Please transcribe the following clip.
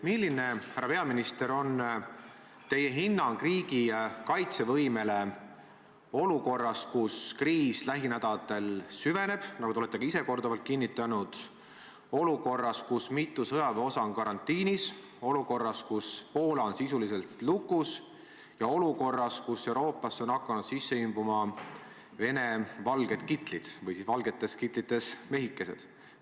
Milline, härra peaminister, on teie hinnang riigi kaitsevõimele olukorras, kus kriis lähinädalatel süveneb, nagu te olete ka ise korduvalt kinnitanud, olukorras, kus mitu sõjaväeosa on karantiinis, olukorras, kus Poola on sisuliselt lukus, ja olukorras, kus Euroopasse on hakanud sisse imbuma Vene valged kitlid või valgetes kitlites mehikesed?